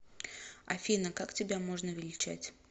афина как тебя можно величать